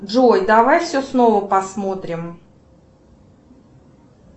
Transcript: джой давай все снова посмотрим